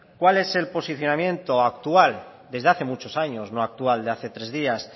cuál es el posicionamiento actual desde hace muchos años no actual de hace tres días